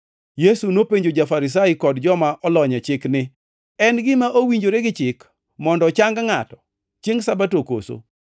Yesu nopenjo ja-Farisai kod joma olony e chik ni, “En gima owinjore gi chik mondo ochang ngʼato chiengʼ Sabato koso?”